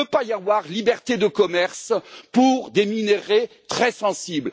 Il ne peut pas y avoir liberté de commerce pour des minerais très sensibles.